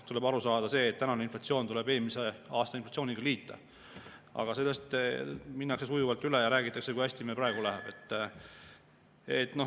Tuleb aru saada, see tänane inflatsioon tuleb eelmise aasta inflatsiooniga liita, aga sellest minnakse sujuvalt üle ja räägitakse, kui hästi meil praegu läheb.